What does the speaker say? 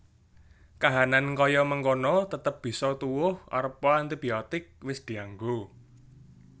Kahanan kaya mengkono tetep bisa tuwuh arepa antibiotik wis dianggo